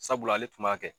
Sabula ale tun b'a kɛ